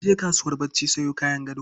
Na je kasuwar barci sayan kayan gado.